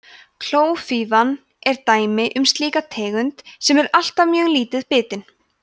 klófífa er dæmi um slíka tegund sem er alltaf mjög lítið bitin